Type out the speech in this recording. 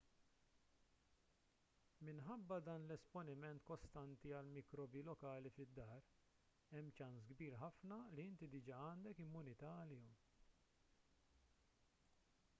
minħabba dan l-esponiment kostanti għall-mikrobi lokali fid-dar hemm ċans kbir ħafna li inti diġà għandek immunità għalihom